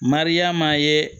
Mariyama ye